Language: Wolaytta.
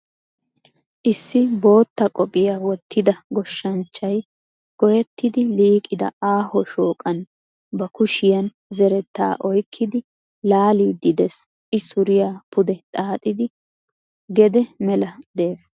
Issi bootta qophiya wottida goshshanchchay goyettidi liiqida aaho shooqan ba kushiyan zerettaa oykkidi laaliiddi dees I suriya pude xaaxidi gede mela dees